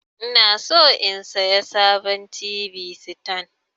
Inason in siya sabon t.v sitan.